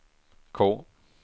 K